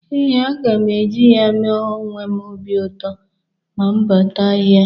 Ee, aga m e ji ya mee onwe m obi ụtọ ma m bata ahịa.